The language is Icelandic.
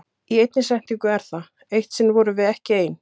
Í einni setningu er það: Eitt sinn vorum við ekki ein.